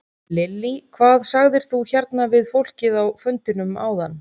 Lillý: Hvað sagðir þú hérna við fólkið á fundinum áðan?